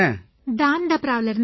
தான்தபராவிலேர்ந்து